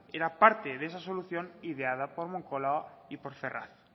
que era parte de esa solución ideada por moncloa y por ferraz